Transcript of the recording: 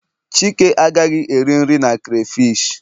chike agaghị eri nri na crayfish